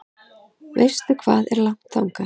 Veistu hvað er langt þangað?